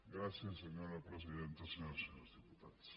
gràcies senyora presidenta senyores i senyors diputats